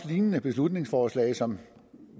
lignende beslutningsforslag som